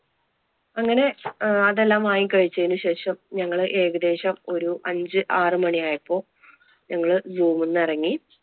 അങ്ങനെ അതെല്ലാം വാങ്ങി കഴിവച്ചതിനു ശേഷം ഞങ്ങൾ ഏകദേശം ഒരു അഞ്ചു ആറു മണിയായപ്പോൾ ഞങ്ങൾ zoo ന്നു ഇറങ്ങി.